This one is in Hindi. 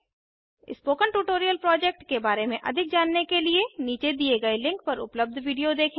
उदाहरण 11010 26 स्पोकन ट्यूटोरियल प्रोजेक्ट के बारे में अधिक जानने के लिए नीचे दिए गए लिंक पर उपलब्ध वीडियो देखें